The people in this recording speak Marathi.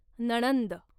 नणंद